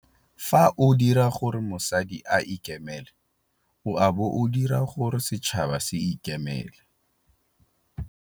Fa o dira gore mosadi a ikemele o a bo o dira gore setšhaba se ikemele.